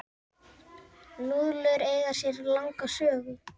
Núðlur eiga sér langa sögu.